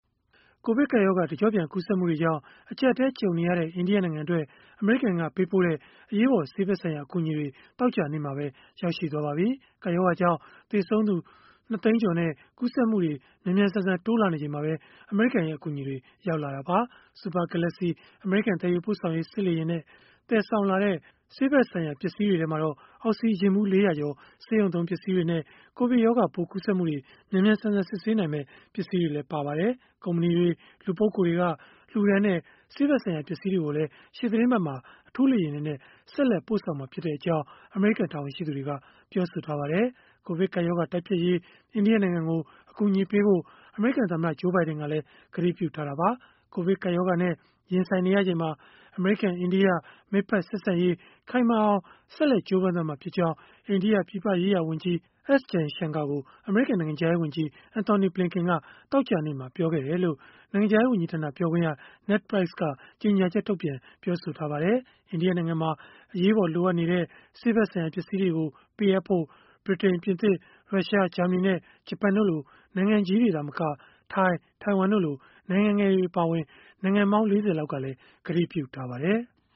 ကိုဗစ်ကပ်ရောဂါ တကျော့ပြန်ကူးစက်မှုတွေကြောင့် အကျပ်အတည်း ကြုံနေရတဲ့ အိန္ဒိယနိုင်ငံအတွက် အမေရိကန်က ပေးပို့တဲ့ အရေးပေါ် ဆေးဖက်ဆိုင်ရာ အကူအညီတွေ သောကြာနေ့မှာပဲ ရောက်ရှိသွားပါပြီ။ ကပ်ရောဂါကြောင့် သေဆုံးသူ ၂ သိန်းကျော်နဲ့ ကူးစက်မှုတွေ မြန်မြန်ဆန်ဆန် တိုးလာနေချိန်မှာပဲ အမေရိကန်ရဲ့ အကူအညီတွေ ရောက်ရှိလာခဲ့တာပါ။ Super Galaxy အမေရိကန် သယ်ယူပို့ဆောင်ရေး စစ်လေယာဉ်နဲ့ သယ်ဆောင်လာတဲ့ ဆေးဖက်ဆိုင်ရာ ပစ္စည်းတွေထဲမှာတော့ အောက်စီဂျင်ဗူး ၄၀၀ ကျော်၊ ဆေးရုံသုံး ပစ္စည်းတွေနဲ့ ကိုဗစ်ရောဂါပိုး ကူးစက်မှုတွေ မြန်မြန်ဆန်ဆန် စစ်ဆေးနိုင်မယ့် ပစ္စည်းတွေလည်း ပါဝင်ပါတယ်။ ကုမ္ပဏီတွေ၊ လူပုဂ္ဂိုလ်တွေက လှူဒါန်းတဲ့ ဆေးဖက်ဆိုင်ရာ ပစ္စည်းတွေကိုလည်း ရှေ့သီတင်းပတ်မှာ အထူးလေယာဉ်တွေနဲ့ ဆက်လက် ပို့ဆောင်မှာဖြစ်ကြောင်း အမေရိကန် တာဝန်ရှိသူတွေက ပြောပါတယ်။ ကိုဗစ်ကပ်ရောဂါ တိုက်ဖျက်ရေး အိန္ဒိယနိုင်ငံကို အကူအညီပေးဖို့ အမေရိကန် သမ္မတ Joe Biden ကလည်း ကတိပြုထားတာပါ။ ကိုဗစ်ကပ်ရောဂါနဲ့ ရင်ဆိုင်နေရချိန်မှာ အမေရိကန်၊ အိန္ဒိယ မိတ်ဖက် ဆက်ဆံရေး ခိုင်မာအောင် ကြိုးပမ်းသွားမှာဖြစ်ကြောင်း အိန္ဒိယပြည်ပရေးရာ ဝန်ကြီး S. Jaishankar ကို အမေရိကန် နိုင်ငံခြားရေး ဝန်ကြီး Antony Blinken က သောကြာနေ့မှာ ပြောခဲ့တယ်လို့ နိုင်ငံခြားရေးဝန်ကြီးဌာန ပြောခွင့်ရ Ned Price က ကြေညာချက် ထုတ်ပြန်ပြောဆိုခဲ့ပါတယ်။ အိန္ဒိယနိုင်ငံမှာ အရေးပေါ် လိုအပ်နေတဲ့ ဆေးဖက်ဆိုင်ရာ ပစ္စည်းတွေကို ပေးအပ်ဖို့ ဗြိတိန်၊ ပြင်သစ်၊ ရုရှား၊ ဂျာမနီ နဲ့ ဂျပန်တို့လို နိုင်ငံကြီးတွေ သာမက ထိုင်း၊ ထိုင်ဝမ်တို့လို နိုင်ငံငယ်တွေ အပါအဝင် နိုင်ငံပေါင်း ၄၀ လောက်က ကတိပြုထားပါတယ်။